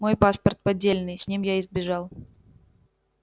мой паспорт поддельный с ним я и бежал